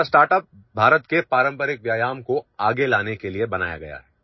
हमारा स्टार्टअप भारत के पारंपरिक व्यायाम को आगे लाने के लिए बनाया गया है